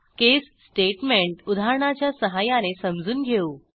केस statement उदाहरणाच्या सहाय्याने समजून घेऊ